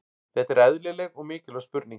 Þetta er eðlileg og mikilvæg spurning.